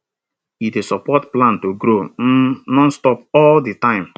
e dey support plant to grow um nonstop all di time